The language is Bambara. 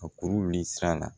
A kuru wuli sira la